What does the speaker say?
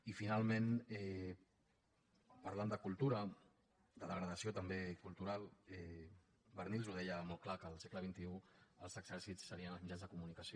i finalment parlant de cultura de degradació també cultural barnils ho deia molt clar que al segle xxiexèrcits serien els mitjans de comunicació